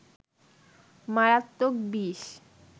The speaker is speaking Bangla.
মারাত্মক বিষ